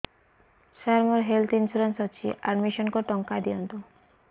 ସାର ମୋର health insurance ଅଛି admission କରି ଟଙ୍କା ଦିଅନ୍ତୁ